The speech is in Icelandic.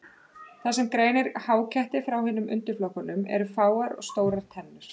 Það sem greinir háketti frá hinum undirflokkunum eru fáar og stórar tennur.